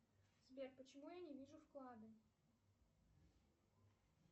сбер почему я не вижу вклады